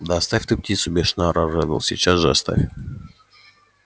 да оставь ты птицу бешено орал реддл сейчас же оставь